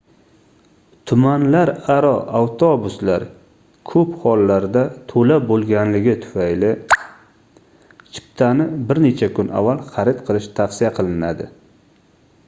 tumanlararo avtobuslar koʻp hollarda toʻla boʻlganligi tufayli chiptani bir necha kun avval xarid qilish tavsiya qilinadi